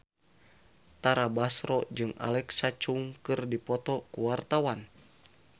Tara Basro jeung Alexa Chung keur dipoto ku wartawan